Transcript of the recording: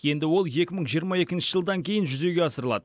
енді ол екі мың жиырма екінші жылдан кейін жүзеге асырылады